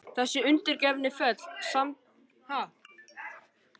Þessi undirgefni fól samtímis í sér ákveðna sjálfsþekkingu.